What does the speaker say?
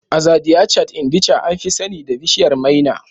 Azadiachta indica, an fi sani da bishiyar maina